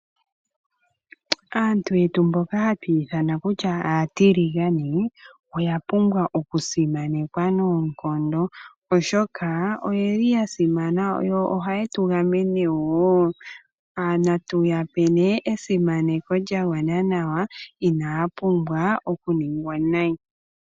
Aantu yetu mboka hatu ithana kutya aatiligane , oya pumbwa okusimanekwa noonkondo , oshoka oye li yasimana yo ohaye tu gamene wo . Natu yape ihe esimaneko lyagwana nawa, inaya pumbwa okuningwa nayi.